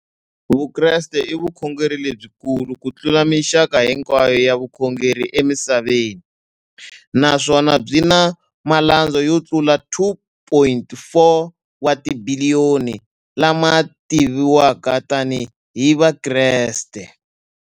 Vukreste i vukhongeri lebyi kulu kutlula mixaka hinkwayo ya vukhongeri emisaveni, naswona byi na malandza yo tlula 2.4 wa tibiliyoni, la ma tiviwaka tani hi Vakreste.